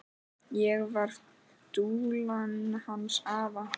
Ég var dúllan hans afa.